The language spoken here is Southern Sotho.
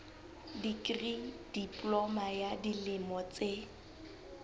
dikri diploma ya dilemo tse